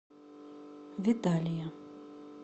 виталия